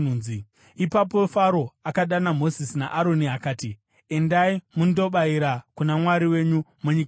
Ipapo Faro akadana Mozisi naAroni akati, “Endai mundobayira kuna Mwari wenyu munyika muno.”